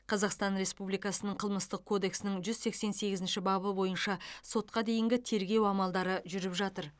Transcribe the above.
қазақстан республикасының қылмыстық кодексінің жүз сексен сегізінші бабы бойынша сотқа дейінгі тергеу амалдары жүріп жатыр